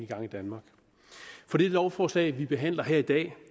gang i danmark for det lovforslag vi behandler her i dag